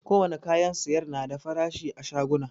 Ko wane kayan sayar na da farashi a shaguna